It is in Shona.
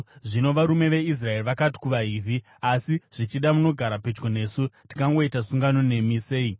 Zvino varume veIsraeri vakati kuvaHivhi, “Asi zvichida munogara pedyo nesu. Tingagoita sungano nemi sei?”